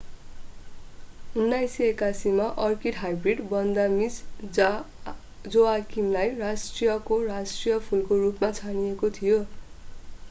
1981 मा orchid hybrid Vanda Miss जोआक्विमलाई राष्ट्रको राष्ट्रिय फूलको रूपमा छानिएको थियो